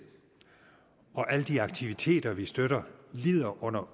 og at alle de aktiviteter som vi støtter lider under